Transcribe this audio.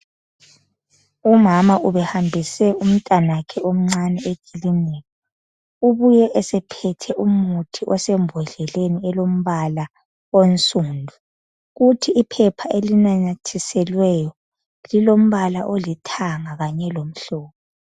Umama ubehambise umntanakhe omnani ekilinika ubuye esephethe umuthi osembhodleleni elombala onsundu, kuthi iphepha elinanyathiselweyo lilombala olithanga kanye lomhlophe.